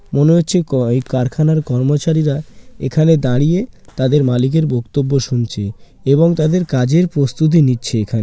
মনে হচ্ছে কয়--কারখানার কর্মচারীরা এখানে দাঁড়িয়ে তাদের মালিকের বক্তব্য শুনছে এবং তাদের কাজের প্রস্তুতি নিচ্ছে এখা--